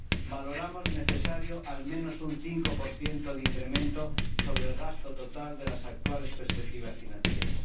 Valoramos necesario al menos un 5 de incremento sobre el gasto total de las actuales perspectivas financieras.